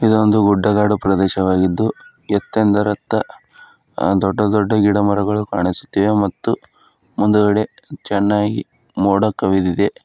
ಇದೊಂದು ಗುಡ್ಡಗಾಡು ಪ್ರದೇಶವಾಗಿದ್ದು ಎತ್ತೇಂ ದರತ್ತ ಆ ದೊಡ್ಡ ದೊಡ್ಡ ಗಿಡಮರಗಳು ಕಾಣಿಸುತ್ತಿವೆ ಮತ್ತು ಮುಂದುಗಡೆ ಚೆನ್ನಾಗಿ ಮೋಡ ಕವಿದಿದೆ.